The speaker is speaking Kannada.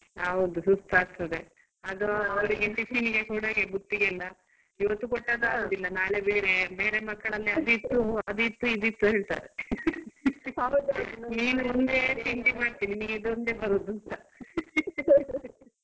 ಹೌದು ಸುಸ್ತ್ ಆಗ್ತದೆ ಅದು ಅವ್ಳ್ಗೆ tiffin ಗೆ ಬುತ್ತಿಗೆಲ್ಲ ಇವತ್ತು ಕೊಟ್ಟದ್ದು ಆಗುವುದಿಲ್ಲ ನಾಳೆ ಬೇರೇಯೇ ಬೇರೆ ಮಕ್ಕಳಲ್ಲಿ ಅದಿತ್ತು ಅದಿತ್ತು ಇದು ಇತ್ತು ಹೇಳ್ತಾರೆ. ನೀನ್ ಒಂದೇ ತಿಂಡಿ ಮಾಡ್ತಿ ನಿನಗೆ ಇದು ಒಂದೇ ಬರುದು ಅಂತ .